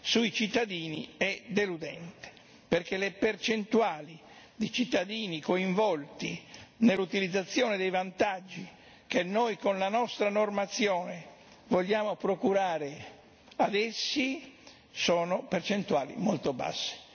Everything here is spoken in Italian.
sui cittadini è deludente, perché le percentuali di cittadini coinvolti nell'utilizzazione dei vantaggi che noi, con la nostra normazione, vogliamo procurare ad essi sono percentuali molto basse.